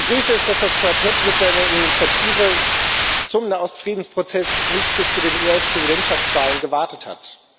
Ich begrüße es, dass das Quartett mit seiner Initiative zum Nahost Friedensprozess nicht bis zu den US Präsidentschaftswahlen gewartet hat.